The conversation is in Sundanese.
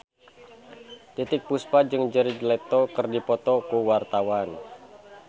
Titiek Puspa jeung Jared Leto keur dipoto ku wartawan